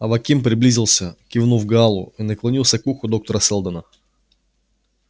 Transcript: аваким приблизился кивнул гаалу и наклонился к уху доктора сэлдона